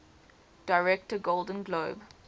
director golden globe